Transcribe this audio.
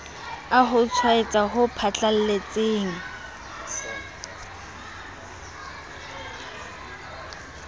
a ho tshwaetsa ho phatlalletseng